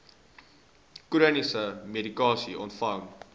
chroniese medikasie ontvang